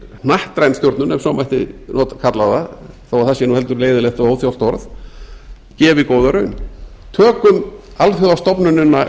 hnattræn stjórnun ef svo mætti kalla það þó að það sé nú heldur leiðinlegt og óþjált orð gefi góða raun tökum alþjóðastofnunina